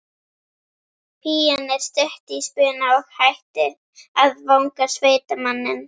Pían er stutt í spuna og hætt að vanga sveitamanninn.